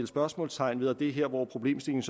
spørgsmålstegn ved og det er her hvor problemstillingen